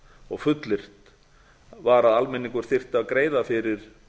og fullyrt var að almenningur þyrfti að greiða fyrir